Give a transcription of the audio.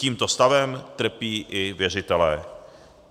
Tímto stavem trpí i věřitelé.